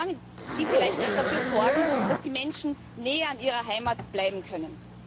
Mauern, die vielleicht dafür sorgen, dass die Menschen näher an ihrer Heimat bleiben können.